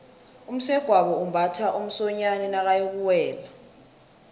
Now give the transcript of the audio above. umsegwabo umbatha umsonyani nakayokuwela